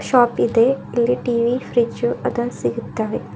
Shop ಇದೆ ಇಲ್ಲಿ TV fridge ಅದನ್ ಸಿಗುತ್ತವೆ.